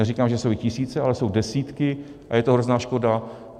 Neříkám, že jsou jich tisíce, ale jsou desítky a je to hrozná škoda.